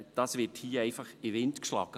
Das wird hier einfach in den Wind geschlagen.